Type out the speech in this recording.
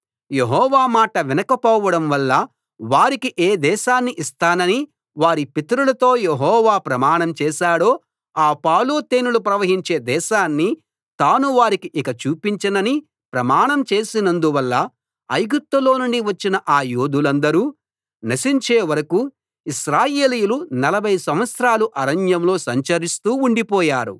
యెహోవా మాట వినకపోవడం వల్ల వారికి ఏ దేశాన్ని ఇస్తానని వారి పితరులతో యెహోవా ప్రమాణం చేశాడో ఆ పాలు తేనెలు ప్రవహించే దేశాన్ని తాను వారికి ఇంక చూపించనని ప్రమాణం చేసినందువల్ల ఐగుప్తులో నుండి వచ్చిన ఆ యోధులందరూ నశించే వరకూ ఇశ్రాయేలీయులు నలభై సంవత్సరాలు అరణ్యంలో సంచరిస్తూ ఉండిపోయారు